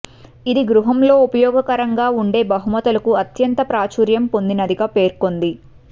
ఇది గృహంలో ఉపయోగకరంగా ఉండే బహుమతులకు అత్యంత ప్రాచుర్యం పొందినదిగా పేర్కొంది